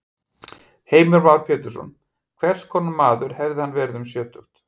Heimir Már Pétursson: Hvers konar maður hefði hann verið um sjötugt?